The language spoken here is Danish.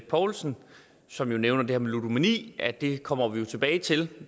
poulsen som jo nævner det her med ludomani at det kommer vi tilbage til